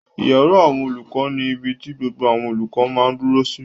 Ìyàrá àwọn olùkọ́ ni ibi ti gbogbo àwọn olùkọ́ máa dúró sí